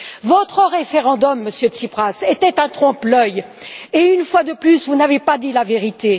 Votre référendum, Monsieur Tsipras, était un trompe l'œil, et une fois de plus, vous n'avez pas dit la vérité.